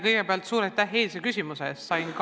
Kõigepealt suur aitäh eilse küsimuse eest!